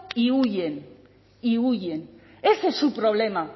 y huyen y huyen ese es su problema